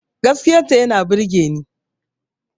Gaskiyar ta yana burgeni